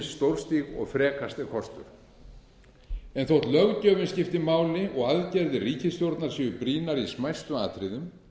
stórstíg og frekast er kostur þótt löggjöfin skipti máli og aðgerðir ríkisstjórnar séu brýnar í smæstu atriðum